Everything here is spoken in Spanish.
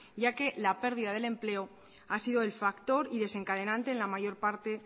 ya que la pérdida del empleo ha sido el factor desencadenante en la mayor parte